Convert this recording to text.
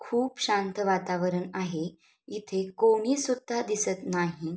खूप शांत वातावरण आहे इथे कोणीसुद्धा दिसत नाही.